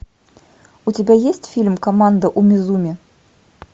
у тебя есть фильм команда умизуми